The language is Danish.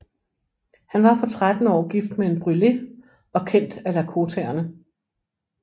Han var på trettende år gift med en brulé og kendt af lakotaerne